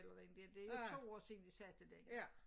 Eller den det det jo 2 år siden de sendte den